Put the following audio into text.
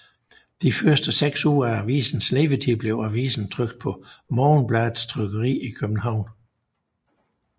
De første seks uger af avisens levetid blev avisen trykt på Morgenbladets trykkeri i København